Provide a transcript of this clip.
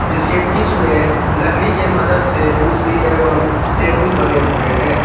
इसके बीच में लकड़ी के मदद से कुर्सी एवं टेबुल बने हुए हैं।